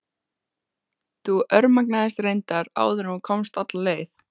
Þú örmagnaðist reyndar áður en þú komst alla leið.